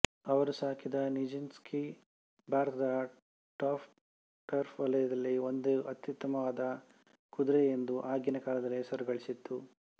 ಅವರು ಸಾಕಿದ Nijinsky ಭಾರತದ ಟರ್ಫ್ ವಲಯದಲ್ಲಿ ಒಂದು ಅತ್ಯುತ್ತಮವಾದ ಕುದುರೆಯೆಂದು ಆಗಿನ ಕಾಲದಲ್ಲಿ ಹೆಸರುಗಳಿಸಿತ್ತು